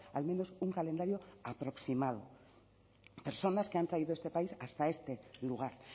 al menos un calendario aproximado personas que han traído este país hasta este lugar